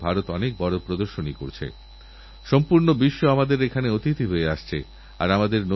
আমাদের সাংসদরাও নিজের নিজের এলাকা থেকে লোককে নিয়েআসেন আমার সঙ্গে দেখা করান কথাবার্তা হয় তাঁরা তাঁদের অসুবিধার কথাও বলেন